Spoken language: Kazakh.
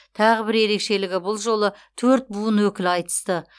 тағы бір ерекшелігі бұл жолы төрт буын өкілі айтысты